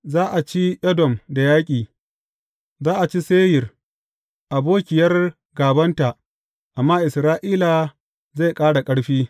Za a ci Edom da yaƙi; za a ci Seyir, abokiyar gābanta, amma Isra’ila zai ƙara ƙarfi.